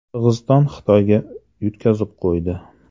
Qirg‘iziston Xitoyga yutqazib qo‘ydi.